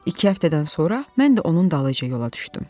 İki həftədən sonra mən də onun dalınca yola düşdüm.